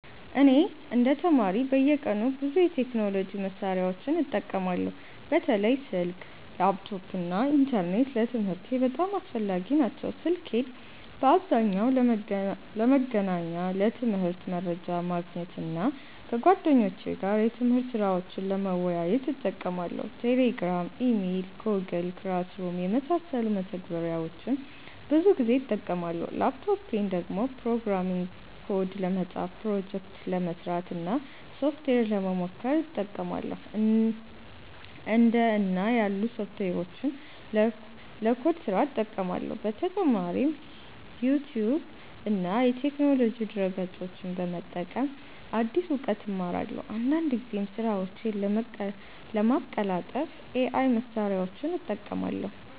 እኔ እንደ ተማሪ በየቀኑ ብዙ የቴክኖሎጂ መሳሪያዎችን እጠቀማለሁ። በተለይ ስልክ፣ ላፕቶፕ እና ኢንተርኔት ለትምህርቴ በጣም አስፈላጊ ናቸው። ስልኬን በአብዛኛው ለመገናኛ፣ ለትምህርት መረጃ ማግኘት እና ከጓደኞቼ ጋር የትምህርት ስራዎችን ለመወያየት እጠቀማለሁ። Telegram፣ Email እና Google Classroom የመሳሰሉ መተግበሪያዎችን ብዙ ጊዜ እጠቀማለሁ። ላፕቶፔን ደግሞ ፕሮግራሚንግ ኮድ ለመጻፍ፣ ፕሮጀክት ለመስራት እና ሶፍትዌር ለመሞከር እጠቀማለሁ። እንደ እና ያሉ ሶፍትዌሮችን ለኮድ ስራ እጠቀማለሁ። በተጨማሪም ዩቲዩብ እና የቴክኖሎጂ ድረ-ገጾችን በመጠቀም አዲስ እውቀት እማራለሁ። አንዳንድ ጊዜም ስራዎቼን ለማቀላጠፍ AI መሳሪያዎችን እጠቀማለሁ።